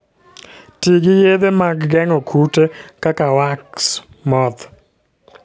Ti gi yedhe mag geng'o kute kaka wax moth.